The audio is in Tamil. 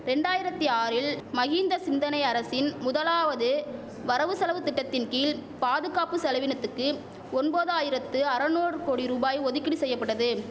ரெண்டாயிரத்தி ஆறில் மஹிந்த சிந்தனை அரசின் முதலாவது வரவு செலவு திட்டத்தின் கீழ் பாதுகாப்பு செலவினத்துக்கு ஒம்பதாயிரத்து அறநூறு கோடி ரூபாய் ஒதுக்கீடு செய்யபட்டது